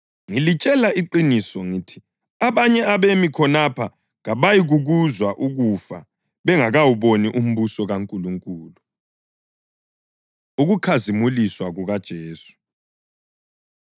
Ngilitshela iqiniso ngithi abanye abemi khonapha kabayikukuzwa ukufa bengakawuboni umbuso kaNkulunkulu.” Ukukhazimuliswa KukaJesu